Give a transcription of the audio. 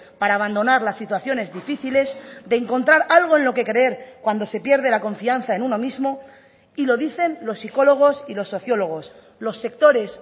para abandonar las situaciones difíciles de encontrar algo en lo que creer cuando se pierde la confianza en uno mismo y lo dicen los psicólogos y los sociólogos los sectores